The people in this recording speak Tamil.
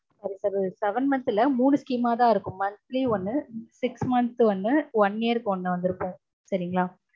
seven month இல்ல. மூனு scheme ஆதா இருக்கும். monthly ஒன்னு, six month ஒன்னு, one year க்கு ஒன்னு வந்திருக்கும் சரிங்களா? அடுத்தது